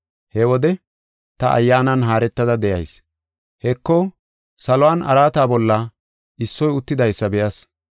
He wode ta Ayyaanan haaretada de7ayis. Heko, saluwan araata bolla issoy uttidaysa be7as.